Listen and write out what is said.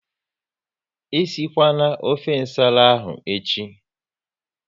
E si kwana ofe nsala ahụ echi!